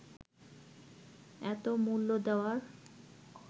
এত মূল্য দেওয়ার